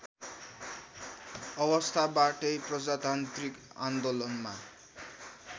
अवस्थाबाटै प्रजातान्त्रिक आन्दोलनमा